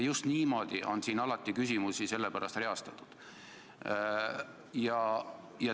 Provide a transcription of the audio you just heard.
Sellepärast on siin alati küsimusi just niimoodi reastatud.